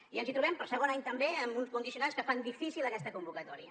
i ens hi trobem per segon any també amb uns condicionants que fan difícil aquesta convocatòria